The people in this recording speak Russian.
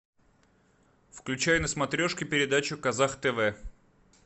включай на смотрешке передачу казах тв